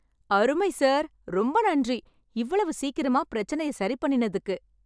அருமை, சார். ரொம்ப நன்றி இவ்வளவு சீக்கிரமா பிரச்சனையை சரி பண்ணினதுக்கு.